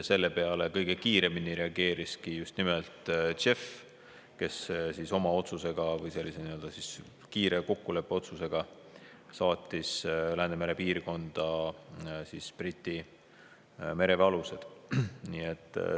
Sellele kõige kiiremini reageeriski just nimelt JEF, kes saatis kiire kokkuleppeotsuse peale Läänemere piirkonda Briti mereväe alused.